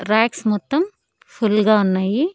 Racks మొత్తం full గా ఉన్నాయి.